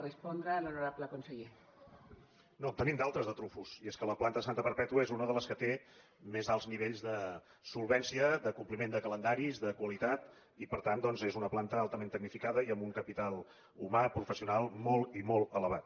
no en tenim d’altres de trumfos i és que la planta de santa perpètua és una de les que té més alts nivells de solvència d’acompliment de calendaris de qualitat i per tant doncs és una planta altament tecnificada i amb un capital humà professional molt i molt elevat